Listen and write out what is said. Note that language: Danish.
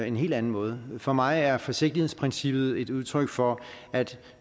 en helt anden måde for mig er forsigtighedsprincippet et udtryk for at